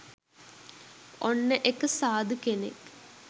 ඔන්න එක සාධු කෙනෙක්